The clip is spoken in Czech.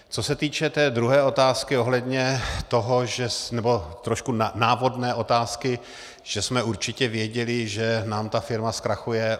Co se týče té druhé otázky ohledně toho, nebo trošku návodné otázky, že jsme určitě věděli, že nám ta firma zkrachuje.